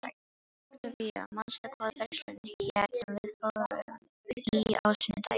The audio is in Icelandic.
Októvía, manstu hvað verslunin hét sem við fórum í á sunnudaginn?